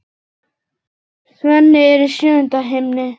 Svenni er í sjöunda himni.